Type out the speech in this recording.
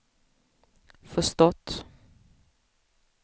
förstått